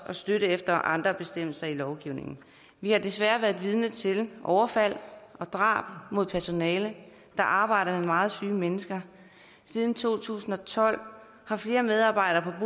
og støtte efter andre bestemmelser i lovgivningen vi har desværre været vidne til overfald og drab på personale der arbejder med meget syge mennesker siden to tusind og tolv har flere medarbejdere